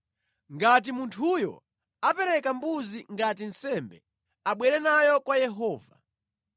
“ ‘Ngati munthuyo apereka mbuzi ngati nsembe, abwere nayo kwa Yehova.